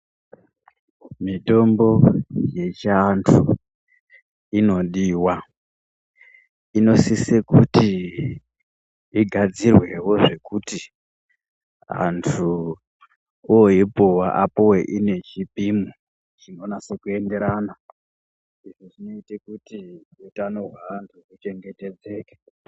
Mitombo yechianthu inodiwa. Inosise kuti igadzirwewo zvekuti anthu oipuwa apuwe ine chipimo chinonase kuenderana. Izvi zvinoite kuti utano hweanhu huchengetedzeke.